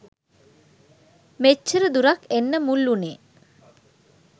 මෙච්චර දුරක් එන්න මුල් වුනේ